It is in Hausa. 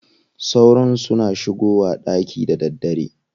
Sauron suna shigowa ɗaki da daddare.